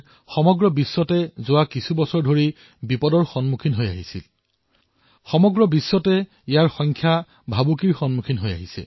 সমগ্ৰ বিশ্বতে বাঘৰ বসতি হ্ৰাস পাই আহিছে